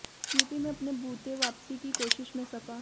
UP में अपने बूते वापसी की कोशिश में सपा